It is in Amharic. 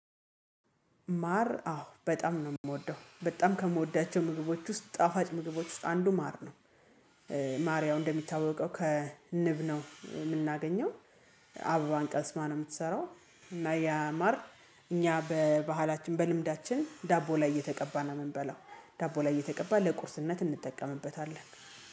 ማር አዎ በጣም ነው የምወደው በጣም ከምወዳቸው ምግቦች ውስጥ ጣፋጭ ምግቦች ውስጥ አንዱ ማር ነው። ማር ያው እንደሚታወቀው ከንብ ነው የምናገኘው። አበባን ቀስማ ነው የምትሰራው እና ያማር እኛ በባህላችን በልምዳችን ዳቦ ላይ እየተቀባ ነው የምንበላው። ዳቦ ላይ እየተቀባ ለቁርስነት እንጠቀምበታለን